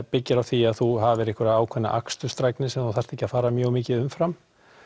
byggir á því að þú hafir einhverja ákveðna akstursdrægni sem þú þarft ekki að fara mjög mikið umfram